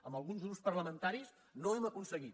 amb alguns grups parlamentaris no ho hem aconseguit